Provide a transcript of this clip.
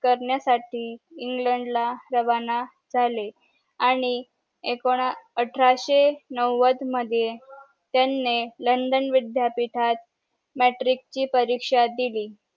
करण्या साठी इंग्लंड ला रावण झाले आणि ऐकोन अठराशे नावड मध्ये त्यांनी लंडन विद्यापीठात मॅट्रिक ची परीक्षा दिली